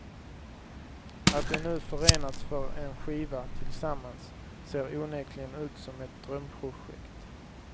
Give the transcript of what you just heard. Att de nu förenats för en skiva tillsammans ser onekligen ut som ett drömprojekt.